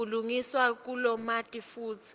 kulungiswa lokumatima futsi